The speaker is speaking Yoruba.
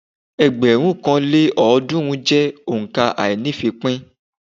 Ẹgbẹ̀rún kan lé ọ́ọ̀dúnrún jẹ́ òǹkà àíní-ìfípín